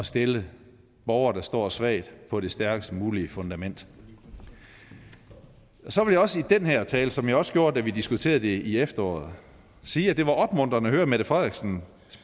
stille borgere der står svagt på det stærkest mulige fundament så vil jeg også i den her tale som jeg også gjorde da vi diskuterede det i efteråret sige at det var opmuntrende at høre mette frederiksens